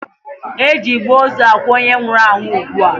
E ji igbe ozu akwa onye nwụrụ anwụ ugbua.